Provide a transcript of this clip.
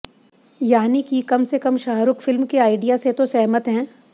यानि की कम से कम शाहरूख फिल्म से आइडिया से तो सहमत हैं